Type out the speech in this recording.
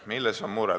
Milles on mure?